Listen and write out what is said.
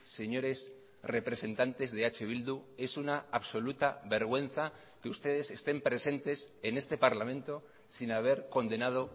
señores representantes de eh bildu es una absoluta vergüenza que ustedes estén presentes en este parlamento sin haber condenado